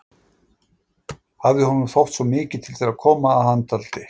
Hafði honum þótt svo mikið til þeirra koma, að hann taldi